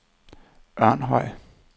Ørnhøj